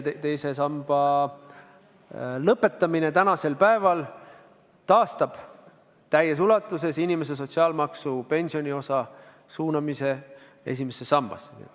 Teise samba lõpetamine taastab täies ulatuses inimese sotsiaalmaksu pensioniosa suunamise esimesse sambasse.